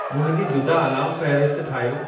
मुंहिंजी जुदा अलार्मु फ़हिरिस्त ठाहियो